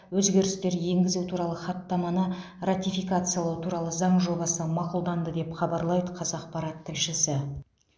өзгерістер енгізу туралы хаттаманы ратификациялау туралы заң жобасы мақұлданды деп хабарлайды қазақпарат тілшісі